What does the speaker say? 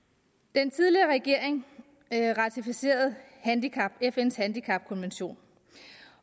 den tidligere regering ratificerede fns handicapkonvention